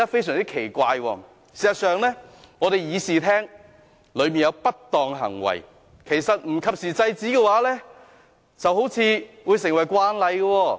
事實上，會議廳內出現不當的行為，如果不及時制止，似乎會變成慣例。